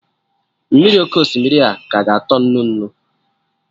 Mmiri oké osimiri a ka ga-atọ nnu nnu?